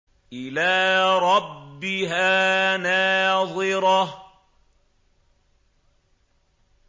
إِلَىٰ رَبِّهَا نَاظِرَةٌ